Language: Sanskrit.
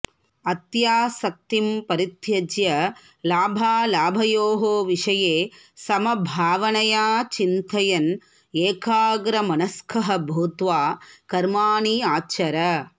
अत्यासक्तिं परित्यज्य लाभालाभयोः विषये समभावनया चिन्तयन् एकाग्रमनस्कः भूत्वा कर्माणि आचर